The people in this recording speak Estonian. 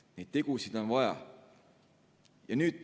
Tegusid on vaja.